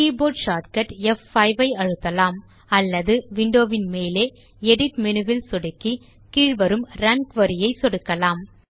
keyboard shortcut ப்5 ஐ அழுத்தலாம் அல்லது விண்டோ மேலே எடிட் மேனு வில் சொடுக்கி கீழே வரும் ரன் குரி இல் சொடுக்கலாம்